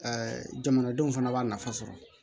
jamanadenw fana b'a nafa sɔrɔ